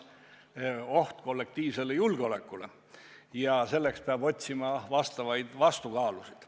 See on oht kollektiivsele julgeolekule ja selleks peab otsima vastukaalusid.